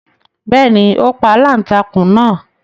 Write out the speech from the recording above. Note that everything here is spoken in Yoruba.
Bẹ́ẹ̀ni, ó pa aláǹtakùn náà